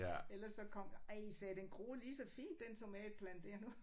Ellers så kom ej sagde jeg den groede lige så fint den tomatplante dér nu